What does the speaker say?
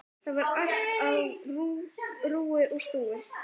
Þar var allt á rúi og stúi.